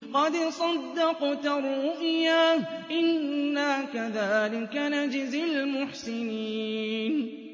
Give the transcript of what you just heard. قَدْ صَدَّقْتَ الرُّؤْيَا ۚ إِنَّا كَذَٰلِكَ نَجْزِي الْمُحْسِنِينَ